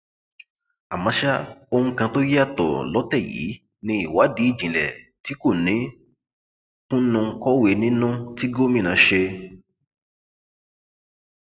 àmọ ṣá ohun kan tó yàtọ lọtẹ yìí ní ìwádìí ìjìnlẹ tí kò ní kùnnùnkọwé nínú tí gómìnà ṣe